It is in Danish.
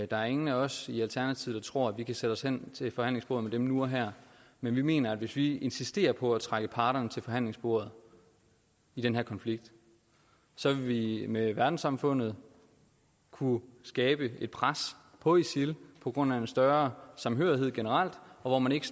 der er ingen af os i alternativet der tror at vi kan sætte os hen til forhandlingsbordet med dem nu og her men vi mener at hvis vi insisterer på at trække parterne til forhandlingsbordet i den her konflikt så vil vi med verdenssamfundet kunne skabe et pres på isil på grund af en større samhørighed generelt og hvor man ikke